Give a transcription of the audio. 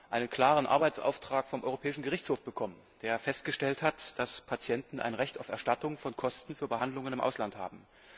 Wir haben einen klaren Arbeitsauftrag vom Europäischen Gerichtshof bekommen, der festgestellt hat, dass Patienten ein Recht auf Erstattung von Kosten für Behandlungen im Ausland haben.